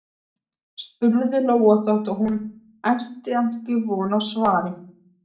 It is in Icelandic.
spurði Lóa þótt hún ætti ekki von á svari.